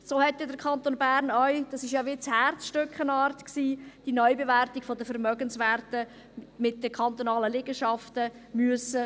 So hat dann der Kanton Bern auch – das ist ja wie eine Art Herzstück – die Neubewertung der Vermögenswerte mit den kantonalen Liegenschaften vornehmen müssen.